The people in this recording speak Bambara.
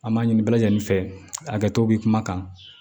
An b'a ɲini bɛɛ lajɛlen fɛ a kɛto bɛ kuma kan